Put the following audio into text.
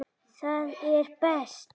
Það er best.